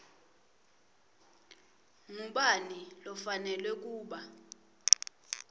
ngubani lofanelwe kuba